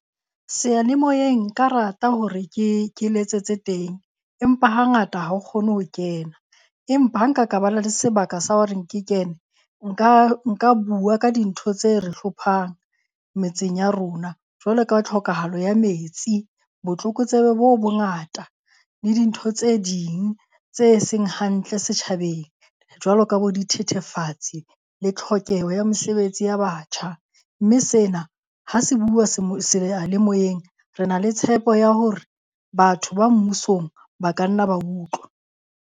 Seyalemoyeng nka rata hore ke ke letsetse teng empa hangata ha o kgone ho kena. Empa ha nka ka ba le sebaka sa horeng ke kene nka nka bua ka dintho tse re hlophang metseng ya rona. Jwalo ka tlhokahalo ya metsi, botlokotsebe bo bongata le dintho tse ding tse seng hantle setjhabeng. Jwalo ka bo dithethefatsi le tlhokeho ya mesebetsi ya batjha. Mme sena ha se buuwa seyalemoyeng. Re na le tshepo ya hore batho ba mmusong ba ka nna ba utlwa.